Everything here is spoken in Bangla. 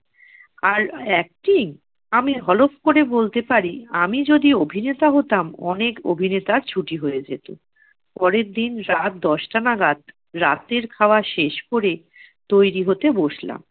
আর acting! আমি হলপ করে বলতে পারি আমি যদি অভিনেতা হতাম অনেক অভিনেতার ছুটি হয়ে যেত। পরের দিন রাত দশটা নাগাদ রাতের খাওয়া শেষ করে তৈরী হতে বসলাম।